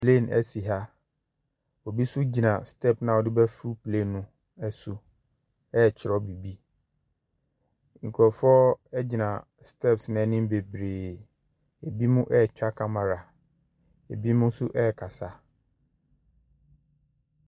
Plɛn asi ha. Obi nso gyina stɛp no a wodi bɛfro plɛn no so ɛkyerɛw biribi. Nkurɔfoɔ agyina stɛps n'anim bebree. Ebinom ɛtwa kamara, ebinom nso ɛkasa.